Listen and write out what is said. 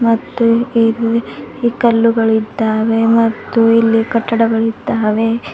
ಮತ್ತು ಇಲ್ಲಿ ಈ ಕಲ್ಲುಗಳಿದ್ದಾವೆ ಮತ್ತು ಇಲ್ಲಿ ಕಟ್ಟಡಗಳಿದ್ದಾವೆ.